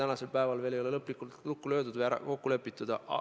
Neid skeeme ei ole veel lõplikult lukku pandud või kokku lepitud.